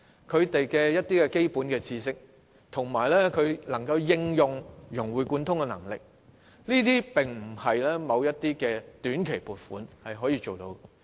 想學生擁有基本知識及融會貫通的能力並非短期撥款可以做到。